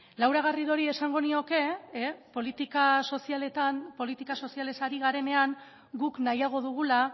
laura garridori esango nioke politika sozialetan politika sozialez ari garenean guk nahiago dugula